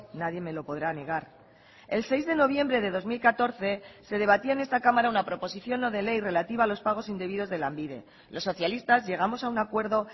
nadie me lo podrá negar el seis de noviembre de dos mil catorce se debatía en esta cámara una proposición no de ley relativa a los pagos indebidos de lanbide los socialistas llegamos a un acuerdo